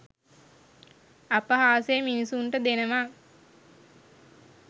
අපහාසය මිනිසුන්ට දෙනවා